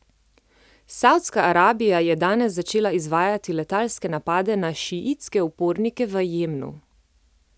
Savdska Arabija je danes začela izvajati letalske napade na šiitske upornike v Jemnu.